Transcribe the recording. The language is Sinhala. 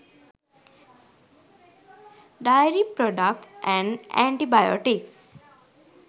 dairy products and antibiotics